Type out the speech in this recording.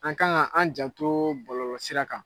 An kan an janto bɔlɔlɔ sira kan.